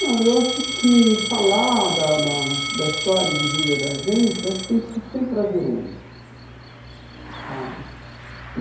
Não, eu acho que falar da da da história de vida da gente, eu acho que tem que ser sempre prazeroso, sabe?